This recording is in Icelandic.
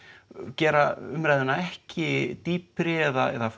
gera umræðuna ekki dýpri eða